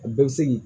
A bɛɛ bɛ se k'i